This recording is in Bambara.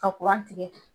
Ka tigɛ